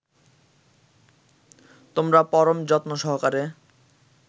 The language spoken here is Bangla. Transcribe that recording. তোমরা পরম যত্নসহকারে